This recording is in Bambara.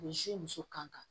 muso kan